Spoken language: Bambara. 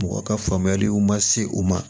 Mɔgɔ ka faamuyaliw ma se u ma